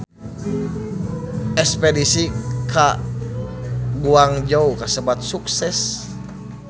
Espedisi ka Guangzhou kasebat sukses